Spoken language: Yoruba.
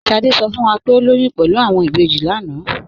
Sádé sọ fún wá pé o lóyún pẹ̀lú awọn ìbéjì lánà.